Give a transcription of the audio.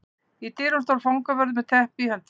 Í dyrunum stóð fangavörður með teppi í höndunum.